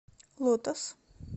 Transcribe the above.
лотос